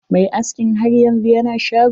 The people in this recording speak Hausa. Mai askin har yanzu yana shago.